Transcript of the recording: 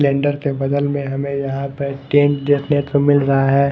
Cylinder के बगल में हमें यहां पर टेंट देखने को मिल रहा है।